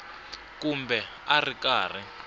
kumbe a a ri karhi